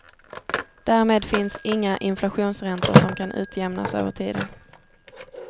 Därmed finns inga inflationsräntor som kan utjämnas över tiden.